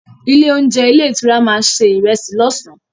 Ilé-oúnjẹ ilé-ìtura máa se ìrẹsì lọ́sàn-án.